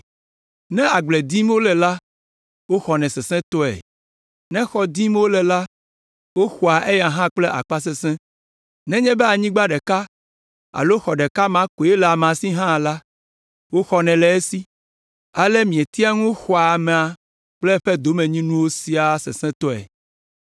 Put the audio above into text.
Ne agble dim wole la, woxɔnɛ sesẽtɔe; ne xɔ dim wole la, woxɔa eya hã kple akpasesẽ. Nenye be anyigba ɖeka alo xɔ ɖeka ma koe le amea si hã la, woxɔnɛ le esi. Ale mietea ŋu xɔa amea kple eƒe domenyinuwo siaa sesẽtɔe.